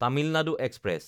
Tamil Nadu express